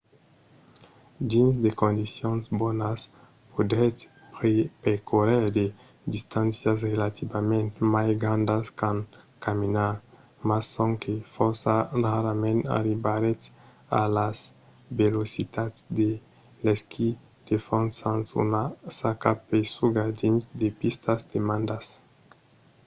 dins de condicions bonas podretz percórrer de distàncias relativament mai grandas qu’en caminar – mas sonque fòrça rarament arribaretz a las velocitats de l'esquí de fons sens una saca pesuga dins de pistas damadas